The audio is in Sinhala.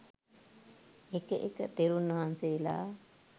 එක එක තෙරුන් වහන්සේලා